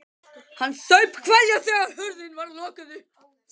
Hann saup hveljur þegar hurðinni var lokið upp.